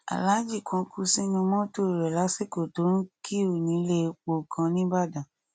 aláàjì kan kú sínú mọtò rẹ lásìkò tó kíú nílé epo kan nìbàdàn